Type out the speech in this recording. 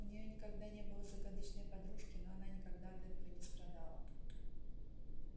у неё никогда не было загадочной подружки но она никогда от этого не страдала